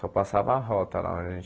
Só passava a rota lá onde a gente